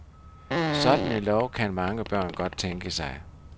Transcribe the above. Sådan en lov kan mange børn godt tænke sig.